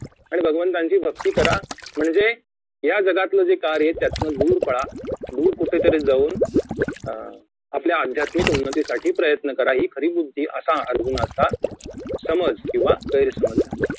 आणि भगवंताची भक्ती करा म्हणजे या जगातील कार्य आहे त्यातनं दूर पळा दूर कुठेतरी जाऊन अं आपल्या अध्यात्मिक बुद्धी उन्नतीसाठी प्रयन्त करा हि खरी बुद्धी असा अर्जुनाचा समज किंवा गैरसमज झाला